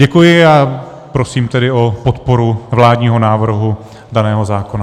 Děkuji a prosím tedy o podporu vládního návrhu daného zákona.